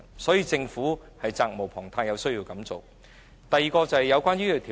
所以，政府責無旁貸，必須做這工作。